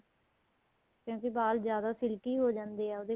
ਕਿਉਂਕਿ ਵਾਲ ਜਿਆਦਾ silky ਹੋ ਜਾਂਦੇ ਏ ਉਹਦੇ